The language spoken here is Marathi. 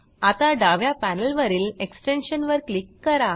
आता डाव्या पॅनेलवरील एक्सटेन्शन वर क्लिक करा